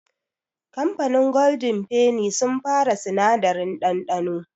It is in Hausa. Kamfanin gwaldin feni sun fara sinadari ɗanɗano.